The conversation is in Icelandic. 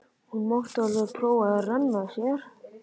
Hún mátti alveg prófa að renna sér.